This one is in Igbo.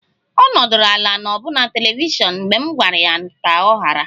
Ọ nọdụrụ ala n'ọbuna telivishiọn mgbe m gwara ya ka ọ ghara